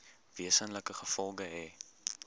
wesenlike gevolge hê